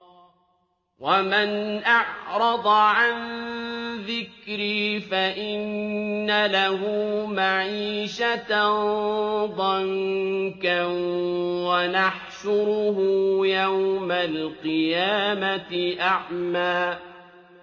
وَمَنْ أَعْرَضَ عَن ذِكْرِي فَإِنَّ لَهُ مَعِيشَةً ضَنكًا وَنَحْشُرُهُ يَوْمَ الْقِيَامَةِ أَعْمَىٰ